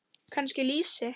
Kannski lýsi?